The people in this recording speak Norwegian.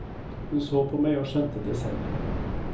Hun så på meg og skjønte det selv.